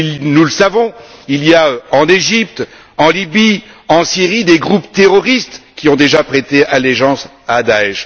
Nous le savons, il y a en Égypte, en Libye, en Syrie des groupes terroristes qui ont déjà prêté allégeance à Da'ech.